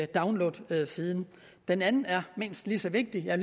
downloadsiden den anden er mindst lige så vigtig jeg